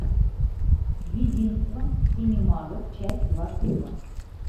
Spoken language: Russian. единство семи магов часть двадцать два